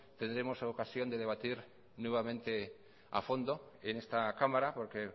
tendremos ocasión de debatir nuevamente a fondo en esta cámara porque